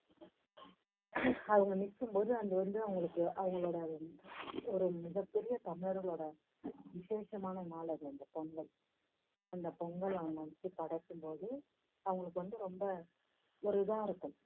அவங்க நிக்கும் போது அது வந்து அவங்களுக்கு அவங்களோட ஒரு மிகப் பெரிய தமிழர்களோட விஷேஷமான நாள் அந்த அந்த பொங்கல். அந்த பொங்கலை அவங்க வந்துட்டு படைக்கும் போது அவங்களுக்கு வந்து ரொம்ப ஒரு இதா இருக்கும்.